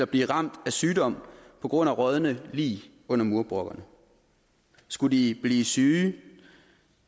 blive ramt af sygdom på grund af rådne lig under murbrokkerne skulle de blive syge